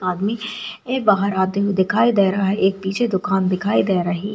आदमी एक बहार आते हुए दिखाई दे रहा है एक पीछे दुकान दिखाई दे रही --